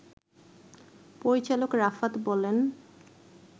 পরিচালক রাফাত বলেন